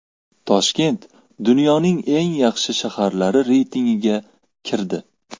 Toshkent dunyoning eng yaxshi shaharlari reytingiga kirdi.